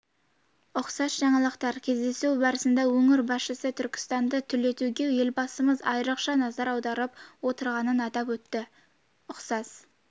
ұқсас жаңалықтар кездесу барысында өңір басшысы түркістанды түлетуге елбасымыз айрықша назар аударып отырғанын атап өтті ұқсас